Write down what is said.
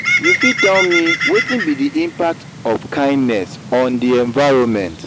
you fit tell me wetin be di impact of kindness on di environment?